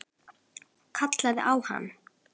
Kallaði á hana.